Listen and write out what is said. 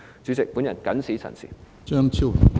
主席，我謹此陳辭。